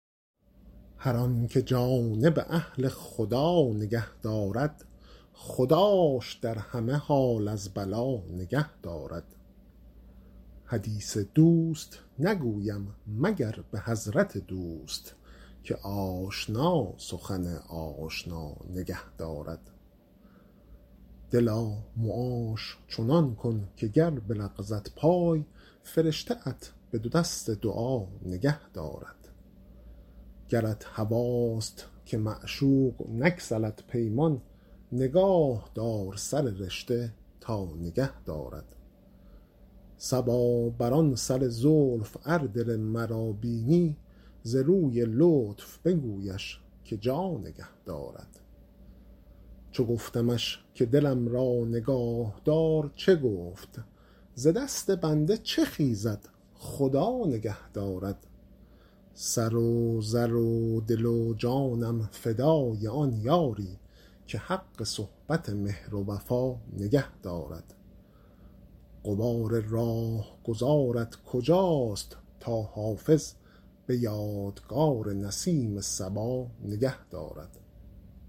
هر آن که جانب اهل خدا نگه دارد خداش در همه حال از بلا نگه دارد حدیث دوست نگویم مگر به حضرت دوست که آشنا سخن آشنا نگه دارد دلا معاش چنان کن که گر بلغزد پای فرشته ات به دو دست دعا نگه دارد گرت هواست که معشوق نگسلد پیمان نگاه دار سر رشته تا نگه دارد صبا بر آن سر زلف ار دل مرا بینی ز روی لطف بگویش که جا نگه دارد چو گفتمش که دلم را نگاه دار چه گفت ز دست بنده چه خیزد خدا نگه دارد سر و زر و دل و جانم فدای آن یاری که حق صحبت مهر و وفا نگه دارد غبار راهگذارت کجاست تا حافظ به یادگار نسیم صبا نگه دارد